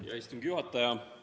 Hea istungi juhataja!